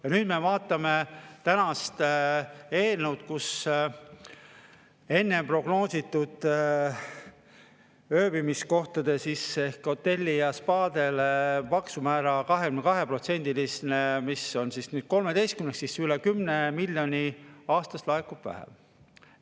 Ja nüüd, kui me vaatame tänast eelnõu – enne plaaniti ööbimiskohtadele ehk hotellidele ja spaadele 22%‑list maksumäära, mis on nüüd 13% –, siis näeme, et üle 10 miljoni aastas laekub vähem.